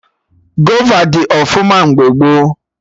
Gova dị ọfụma mgbe gboo